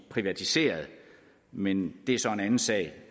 privatiseret men det er så en anden sag